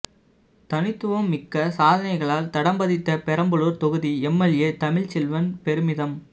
தனித்துவம் மிக்க சாதனைகளால் தடம் பதித்த பெரம்பலூர் தொகுதி எம்எல்ஏ தமிழ்ச்செல்வன் பெருமிதம்